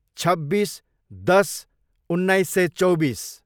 छब्बिस, दस, उन्नाइस सय चौबिस